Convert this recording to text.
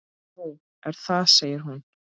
Nú, er það segir hún.